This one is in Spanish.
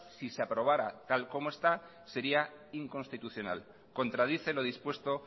si se aprobara tal y como está sería inconstitucional contradice lo dispuesto